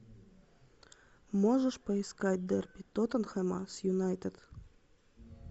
можешь поискать дерби тоттенхэма с юнайтед